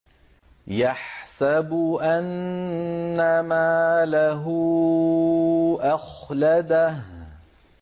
يَحْسَبُ أَنَّ مَالَهُ أَخْلَدَهُ